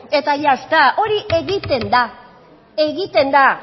eta ya está hori egiten da egiten da